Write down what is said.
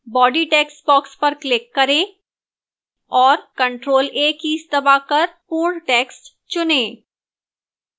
body textbox पर click करें और ctrl + a कीज दबाकर पूर्ण text चुनें